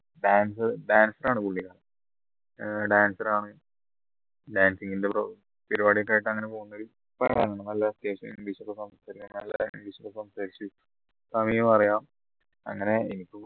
ഏർ dancer ആണ് dancing ന്റെ pro പരിപാടി ഒക്കെ ആയിട്ട് അങ്ങനെ പോന്നൊരു നല്ല അത്യാവശ്യം english കെ സംസാരിച് തമിഴും അറിയാം അങ്ങനെ